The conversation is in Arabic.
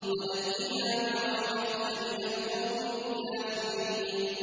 وَنَجِّنَا بِرَحْمَتِكَ مِنَ الْقَوْمِ الْكَافِرِينَ